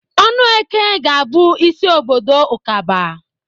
Ọnụeke ga-abụ isi obodo Ụkaba.